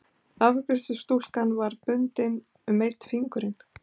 Afgreiðslustúlkan var með bundið um einn fingurinn.